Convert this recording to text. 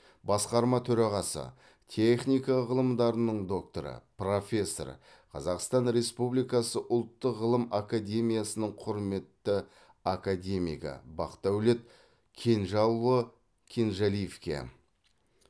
басқарма төрағасы техника ғылымдарының докторы профессор қазақстан республикасы ұлттық ғылым академиясының құрметті академигі бақдәулет кенжалыұлы кенжалиевке